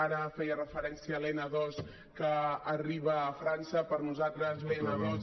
ara feia referència a l’n ii que arriba a frança per nosaltres l’n ii